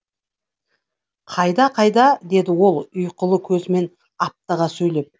қайда қайда деді ол да ұйқылы көзімен аптыға сөйлеп